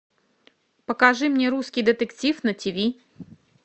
покажи мне русский детектив на тв